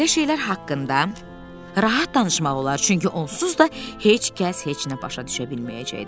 Belə şeylər haqqında rahat danışmaq olar, çünki onsuz da heç kəs heç nə başa düşə bilməyəcəkdi.